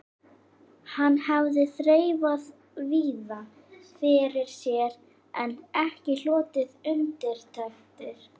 Hann hafði þreifað víða fyrir sér en ekki hlotið undirtektir.